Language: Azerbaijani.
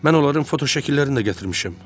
Mən onların fotoşəkillərini də gətirmişəm.